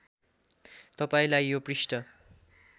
तपाईँलाई यो पृष्ठ